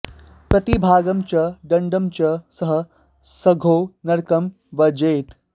प्रतिभागं च दण्डं च स सद्यो नरकं व्रजेत्